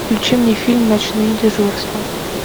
включи мне фильм ночные дежурства